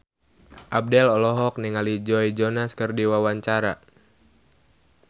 Abdel olohok ningali Joe Jonas keur diwawancara